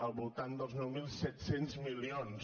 al voltant dels nou mil set cents milions